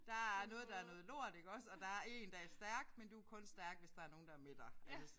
Der er noget der er noget lort iggås og der er en der er stærk men du er kun stærk hvis der er nogen der er med dig altså